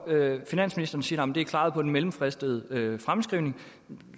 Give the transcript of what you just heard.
finansministeren siger det er klaret på den mellemfristede fremskrivning